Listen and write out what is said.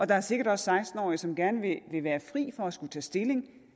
der er sikkert også seksten årige som gerne vil være fri for at skulle tage stilling